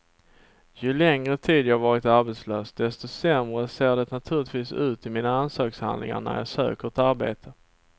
Ju längre tid jag varit arbetslös desto sämre ser det naturligtvis ut i mina ansökningshandlingar när jag söker ett arbete.